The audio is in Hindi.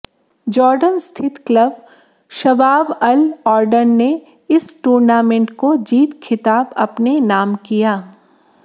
जॉर्डन स्थित क्लब शबाब अल ऑरडन ने इस टूर्नामेंट को जीत खिताब अपने नाम किया